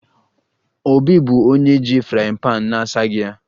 Obi bụ onye ji frying pan na-asaghị ya